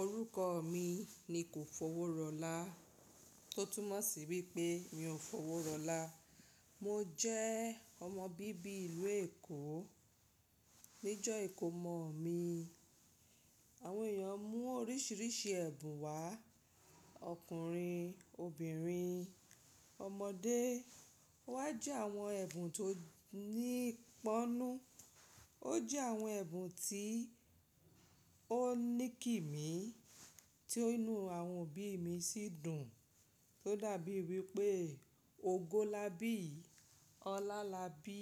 Orúkọ mi ni Kòfowórọlá. Tó túmọ̀ sí wípé mi ò fowó rọlá. Mo jẹ́ ọmọ bíbí ìlú Èkó. Ní ọjọ́ ìkómọ mi, àwọn èèyàn mú oríṣiríṣi ẹ̀bùn wá. Ọkùnrin, obìnrin, ọmọdé. Wá jí àwọn ẹ̀bùn tó nípọnú. Ó jẹ́ àwọn ẹ̀bùn tí ó ní kì mí, tí inú àwọn òbí mi sì dùn. Tó dàbí wípé ògo lá bí, ọlá lá bí.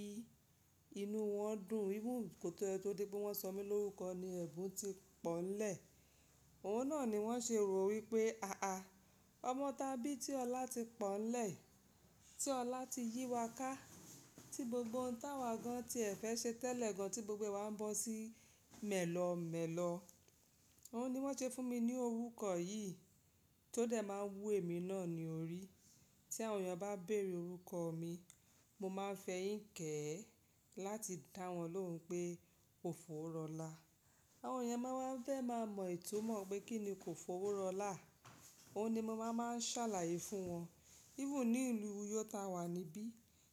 Inú wọn dùn. Even ko tó dé pé wọ́n sọ mí lórúkọ ni ẹ̀bùn tí pọ́n ńlẹ̀. Òun náà ni wọ́n ṣe rò wípé àà, ọmọ ta bí tí ọlá ti pọ́n ńlẹ̀, tí ọlá ti yí wa ká, tí gbogbo ohun táwà gan tí ẹ̀ fẹ́ ṣe tẹ́lẹ̀ gan, tí gbogbo wa ń bọ́ sí mẹ̀lọ̀ọ́ mẹ̀lọ̀ọ́. Òun ni wọ́n ṣe fún mi ní orúkọ yìí tó dẹ̀ máa wú èmi náà ni orí. Tí àwọn èèyàn bá béèrè orúkọ mi, mo máa fẹyínkẹ̀ẹ́ láti dá wọn lóhùn pé Kòfowórọlá. Àwọn èèyàn máa wá fe máa mọ itumo pé kí ni Kòfowórọlá. Òun ni mo máa máa ṣàlàyé fún wọn. Even ní ìlú Uyó tá wà níbí.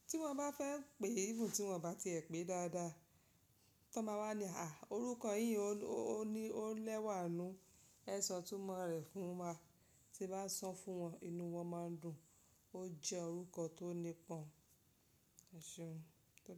Tí wọ́n bá fẹ́ pè, even tí wọ́n bá ti ẹ pé dáadáa. Tí wọ́n bá wá ní àà, orúkọ yìí ó ní ó lẹ́wà nú. Ẹ sọ ìtumọ̀ rẹ̀ fún wa. Tí a bá sọ fún wọn, inú wọn máa ń dùn. Ó jẹ́ orúkọ tó nípọn. EṢeun. Tódé.